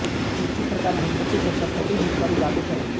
इसी प्रकार घट्टपति और तरपति भी कर उगाहते थे